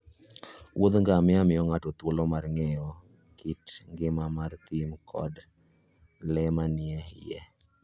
Wuodh ngamia miyo ng'ato thuolo mar ng'eyo kit ngima mar thim koda le manie iye.